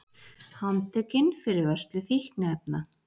Handtekinn fyrir vörslu fíkniefna